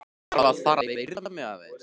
Þarf að fara að viðra mig aðeins.